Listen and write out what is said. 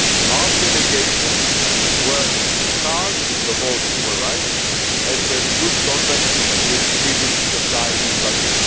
Our delegation works hard to promote human rights and has good contacts with civil society in Baku.